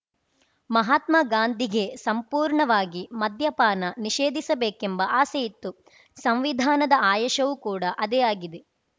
ಮಹಾತ್ಮ ಗಾಂಧಿಗೆ ಸಂಪೂರ್ಣವಾಗಿ ಮದ್ಯಪಾನ ನಿಷೇಧಿಸಬೇಕೆಂಬ ಆಸೆಯಿತ್ತು ಸಂವಿಧಾನದ ಆಯಶವೂ ಕೂಡ ಅದೆ ಆಗಿದೆ